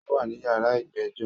Ó wá ní yàrá ìgbẹ́jọ́